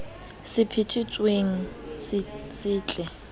se phethe tsweng se setle